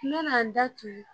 N nana n da tugu